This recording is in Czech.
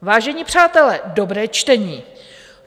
Vážení přátelé, dobré čtení.